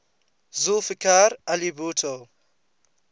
zulfikar ali bhutto